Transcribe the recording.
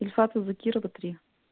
ильфата закирова три